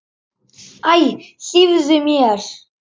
Æ, hlífðu mér!